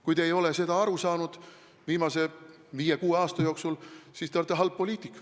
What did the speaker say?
Kui te ei ole sellest viimase viie-kuue aasta jooksul aru saanud, siis te olete halb poliitik.